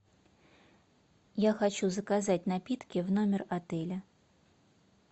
я хочу заказать напитки в номер отеля